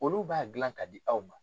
Olu b'a gilan k'a di aw ma.